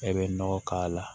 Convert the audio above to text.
E bɛ nɔgɔ k'a la